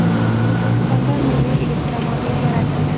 O‘zbekistonda milliy elektromobil yaratildi.